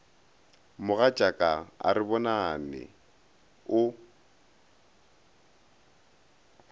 mogatšaka ga re bonane o